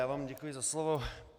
Já vám děkuji za slovo.